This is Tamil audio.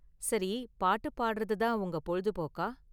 சரி, பாட்டு பாடுறது தான் உங்க பொழுதுபோக்கா?